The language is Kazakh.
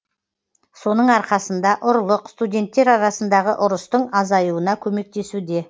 соның арқасында ұрлық студенттер арасындағы ұрыстың азаюына көмектесуде